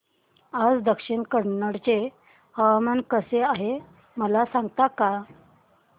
आज दक्षिण कन्नड चे हवामान कसे आहे मला सांगता का